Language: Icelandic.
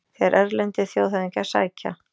Þegar erlendir þjóðhöfðingjar sækja